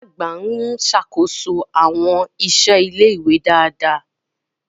Ọ̀gá àgbà ń ṣàkóso àwọn iṣẹ́ ilé-ìwé dáadáa.